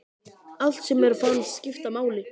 Allt sem mér fannst skipta máli.